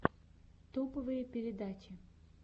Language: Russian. топовые передачи